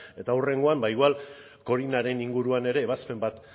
eta hurrengoan ba igual corinaren inguruan ere ebazpen bat